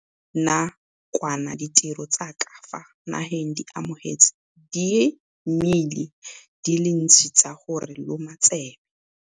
Fa go ne go sekegilwe na kwana ditiro tsa ka fa nageng re amogetse diimeile di le dintsi tsa go re loma tsebe.